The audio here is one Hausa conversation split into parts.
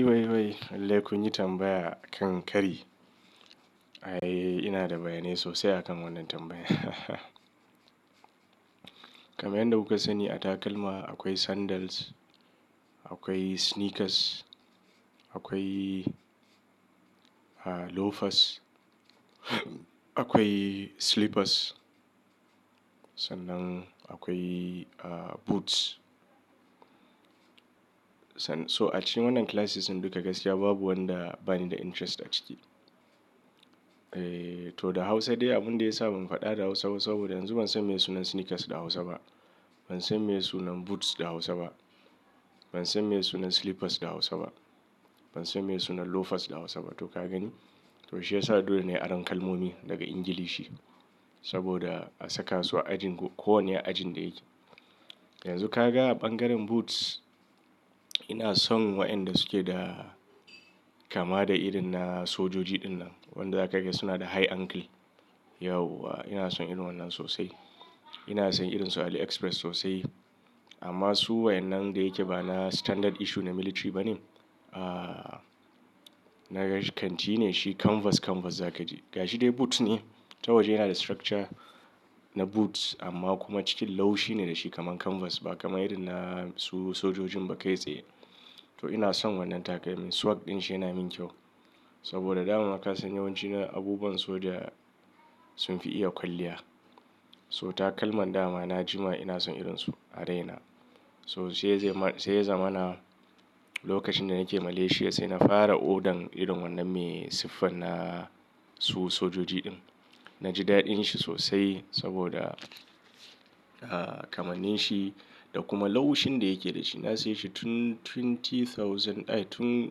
Wai wai, lalle kun yi tambaya akan kari. Ai ina da bayani sosai akan wannan tambayan. Kamar yadda kuka sani a takalma akwai sandals, akwai sneakers, akwai loafers, akwai slippers sannan akwai boots. So a cikin wannan classes duka gaskiya babu wanda bani da interest a ciki. Eh to da Hausa dai abin da ya sa ban faɗa da Hausa ba saboda yanzu ban san meye sunan sneakers da Hausa ba. Ban san meye sunan boots da Hausa ba. Ban san meye sunan slippers da Hausa ba. Ban san meye sunan loafers da Hausa ba. To ka gani? To shi ya sa dole ne a ran kalmomi daga Ingilishi saboda a saka su a ajin su, kowane ajin da yake. Yanzu ka ga a ɓangaren boots ina son waɗanda suke da kama da irin na sojoji din nan. Wanda za ka ga suna da high ankle. Yauwa ina son irin wannan sosai. Ina siyan irinsu a Aliexpress sosai. Amma su wa'en nan da yake bana standard issue na military bane. Ahhh na gashi kanti ne shi kanvas, kanvas za ka ji. Ga shi dai boot ne ta waje yana da structure na boots amma kuma cikin laushi ne dashi kaman kanvas. Ba kama irin na su sojojin ba kai tsaye. To ina son wannan takalmin swag din shi yana min kyau. Saboda dama ka san yawanci na abubuwan soja sun fi iya kwalliya. So takalman dama na jima ina son irin su a raina. So sai ya zama na lokacin da nake Malaysia sai na fara ordern irin wannan mai siffan na su sojoji din. Na ji daɗin shi sosai saboda kamannin shi da kuma laushin da yake da shi. Na saye shi tun twenty thousand ai tun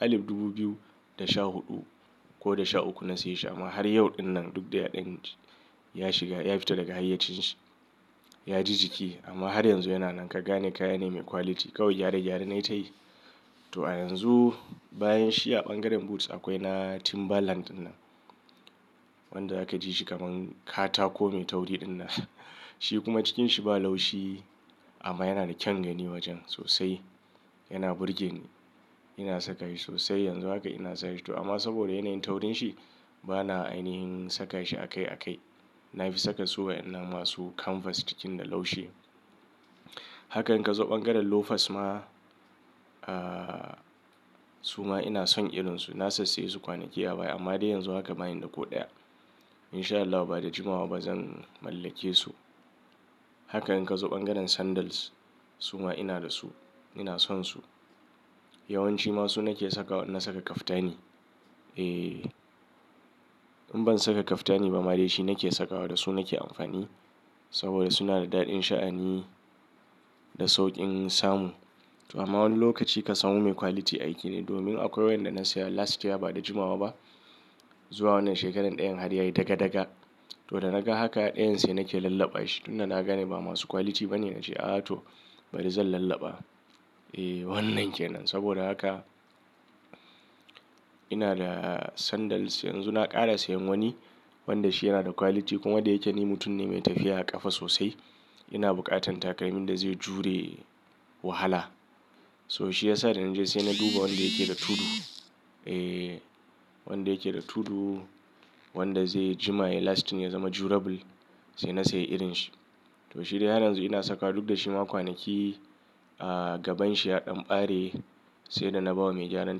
alif dubu biyu da sha huɗu ko da sha uku na saye shi amma har yau din nan duk da ɗan ɗan ya shiga, ya fita daga hayyacin shi. Ya ji jiki amma har yanzu yana nan. Ka gane kaya ne mai quality. Kawai gyare gyare na yi ta yi. To a yanzu bayan shi a ɓangaren boots akwai na Timberland ɗinnan. Wanda za ka ji shi kaman katako mai tauiri din nan. Shi kuma cikinsa ba laushi amma yana da kyan gani wajen sosai. Yana burgeni. Ina saka shi sosai. Yanzu haka ina sanya shi. To amma saboda yanayin taurin shi bana ainihin saka shi a kai a kai. Na fi saka su wayan nan masu kanvas cikin da laushi. Haka in ka zo ɓangaren loafers ma, ahhh su ma ina son irin su. Na sassaye su kwanaki a baya amma dai yanzu haka bani da ko ɗaya. In sha Allah bada jimawa ba zan mallake su. Haka in ka zo ɓangaren sandals su ma ina da su. Ina son su. Yawanci ma su nake saka wa na saka kaftani. Eh in ban saka kaftani ba ma dai shi nake sakawa da su nake amfani. Saboda suna da daɗin sha'ani da saukin samu. Amma wani lokaci ka samu mai quality aiki ne. Domin akwai wanda na saya last year bada jimawa ba. Zuwa wannan shekarar ɗayan har yayi daga daga. To da naga haka ɗayan sai nake lallaba shi. Tun da naga ne ba masu quality bane nache ah to bari zan lallaba. Eh wannan ke nan. Saboda haka ina da sandals yanzu na ƙara sayan wani wanda shi yana da quality kuma da yake ni mutum ne mai tafiya a ƙafa sosai ina buƙatan takalmin da zai jure wahala. To shi ya sa da na je sai na duba wanda yake da tudu. Eh wanda yake da tudu, wanda zai jima, ya last, ya zama durable sai na sayi irin shi. To shi dai har yanzu ina saka duk da shi ma kwanaki ahh gabanshi ya ɗan ɓare sai da na ba wa mai gyaran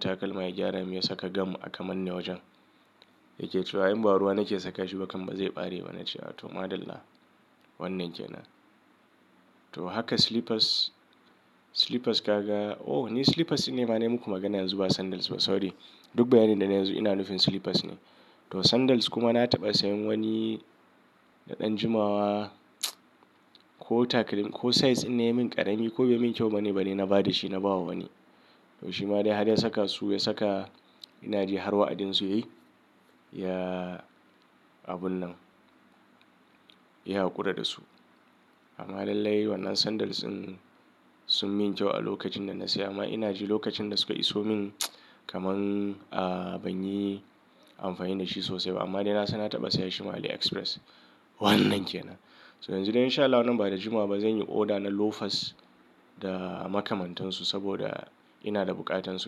takalma ya gyara mun ya saka gam a kamanna wajen. Yake cewa in ba ruwa nake saka shi ba kam bazai ɓare ba. Nace ah to madalla. Wannan kenan. To haka slippers, slippers ka ga. Oh! Ni slippers ne ma ne muku magana yanzu ba sandals ba. Sorry. Duk bayani da nayi yanzu ina nufin slippers ne. To sandals kuma na taɓa sayan wani na ɗan jimawa ko takalmin ko size in na yi min ƙarami ko bai yi min kyau bane bane na ba da shi na ba wa wani. To shi ma dai har ya saka su ya saka ina ji har wa'adinsu yayi. Ya abun nan ya haƙura da su. Amma lallai wannan sandals sun, sun min kyau a lokacin da na saya ma ina ji lokacin da suka iso min kaman ah ban yi amfani da shi sosai ba. Amma dai na san na taɓa saya shi ma Aliexpress. Wannan kenan. To yanzu dai in sha Allah wannan bada jimawa ba zan yi oda na loafers da makamantansu saboda ina da buƙatan su.